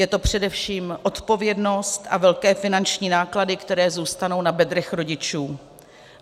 Je to především odpovědnost a velké finanční náklady, které zůstanou na bedrech rodičů.